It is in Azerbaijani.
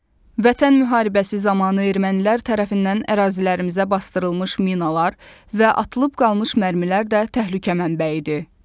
Vətən müharibəsi zamanı ermənilər tərəfindən ərazilərimizə basdırılmış minalar və atılıb qalmış mərmilər də təhlükə mənbəyidir.